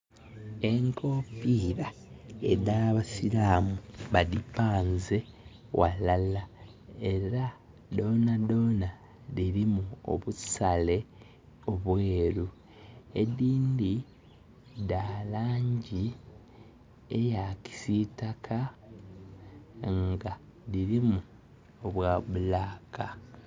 Enkofiira edhabasilaamu badipanze ghalala era dhondhana dhilimu obusale obweru edhindhi dhalangi eyakisiitaka nga dhirimu obwa bulaka